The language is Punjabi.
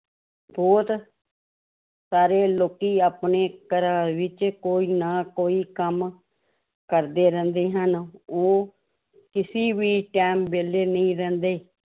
ਬਹੁਤ ਸਾਰੇ ਲੋਕੀ ਆਪਣੇ ਘਰਾਂ ਵਿੱਚ ਕੋਈ ਨਾ ਕੋਈ ਕੰਮ ਕਰਦੇ ਰਹਿੰਦੇ ਹਨ ਉਹ ਕਿਸੇ ਵੀ time ਵਿਹਲੇ ਨਹੀਂ ਰਹਿੰਦੇ